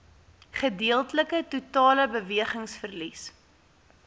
gedeeltelike totale bewegingsverlies